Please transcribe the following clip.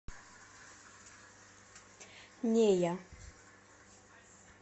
нея